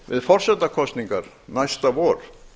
við forsetakosningar næsta vor